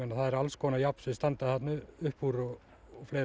það eru alls konar járn sem standa þarna upp úr